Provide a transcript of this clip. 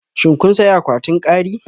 Shin kun sayi akwatin kari?